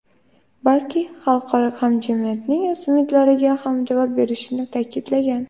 balki xalqaro hamjamiyatning umidlariga ham javob berishini ta’kidlagan.